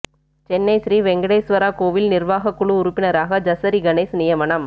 சென்னை ஸ்ரீ வெங்கடேஸ்வரா கோவில் நிர்வாகக் குழு உறுப்பினராக ஜசரி கணேஷ் நியமனம்